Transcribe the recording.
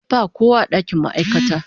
Ba kowa a dakin ma'aikata.